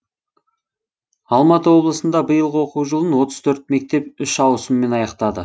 алматы облысында биылғы оқу жылын отыз төрт мектеп үш ауысыммен аяқтады